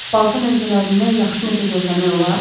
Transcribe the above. Balkan ölkələrindən yaxşı nəsə gözləmək olar?